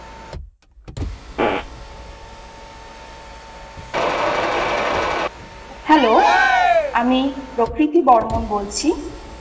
Hello আমি প্রকৃতি বর্মন বলছি I